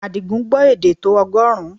Àdìgún gbọ́ èdè tó ọgọ́rùn-ún